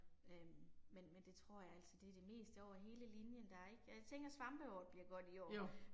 Øh men men det tror jeg altså det det meste over hele linjen, der er ikke, jeg tænker svampeår bliver godt i år